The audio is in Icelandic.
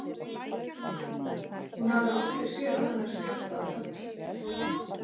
Hún hafði aldrei séð annan eins fjölda af pöddum.